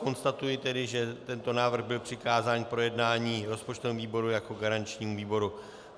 Konstatuji tedy, že tento návrh byl přikázán k projednání rozpočtovému výboru jako garančnímu výboru.